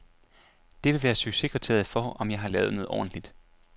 Det vil være succeskriteriet for, om jeg har lavet noget ordentligt.